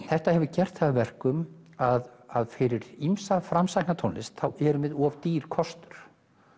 þetta hefur gert það að verkum að fyrir ýmsa framsækna tónlist erum við of dýr kostur